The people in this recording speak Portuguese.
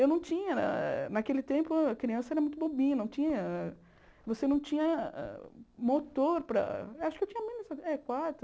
Eu não tinha, naquele tempo a criança era muito bobinha, não tinha você não tinha motor para... acho que eu tinha menos, eh quatro...